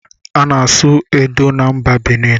A na-asụ edo na mba Binin